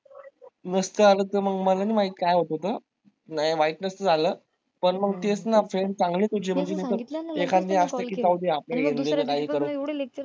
नसतं आलं तर मला नाही माहीत काय होत ते नाय माहित नसतं झाल पण मंग तेच ना